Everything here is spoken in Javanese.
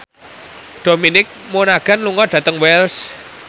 Dominic Monaghan lunga dhateng Wells